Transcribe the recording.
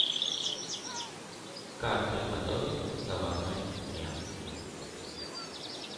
как приготовить заварной крем